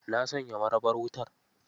Na sanya marabar wutar?